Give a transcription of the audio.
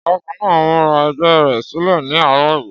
Ọ̀gágun náà múra ẹgbẹ́ rẹ̀ sílẹ̀ ní àárọ̀ yìí.